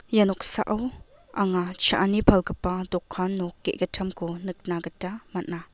ia noksao anga cha·ani palgipa dokan nok gegittamko nikna gita man·a.